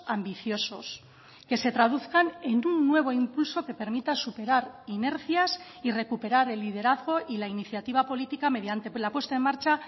ambiciosos que se traduzcan en un nuevo impulso que permita superar inercias y recuperar el liderazgo y la iniciativa política mediante la puesta en marcha